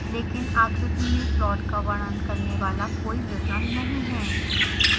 लेकिन आकृति में प्लॉट का वर्णन करने वाला कोई विवरण नहीं है